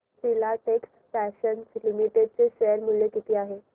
Filatex Fashions Limited चे share मूल्य किती आहे